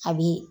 A bi